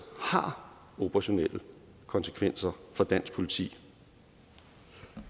har operationelle konsekvenser for dansk politi